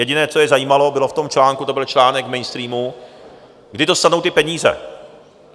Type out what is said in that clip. Jediné, co je zajímalo, bylo v tom článku, to byl článek v mainstreamu, kdy dostanou ty peníze.